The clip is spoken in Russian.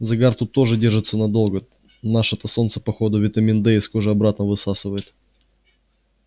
загар тут тоже держится надолго наше-то солнце по ходу витамин д из кожи обратно высасывает